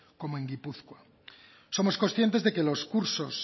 como en gipuzkoa somos conscientes de que los cursos